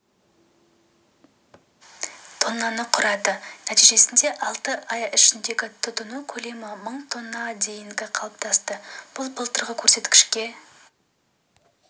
тоннаны құрады нәтижесінде алты ай ішіндегі тұтыну көлемі мың тонна деңгейінде қалыптасты бұл былтырғы көрсеткішке